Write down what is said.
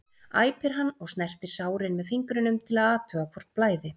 æpir hann og snertir sárin með fingrunum til að athuga hvort blæði.